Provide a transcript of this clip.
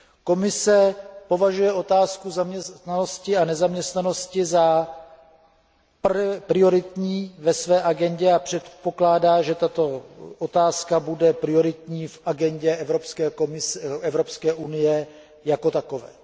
Komise považuje otázku zaměstnanosti a nezaměstnanosti za prioritní ve své agendě a předpokládá, že tato otázka bude prioritní v agendě Evropské unie jako takové.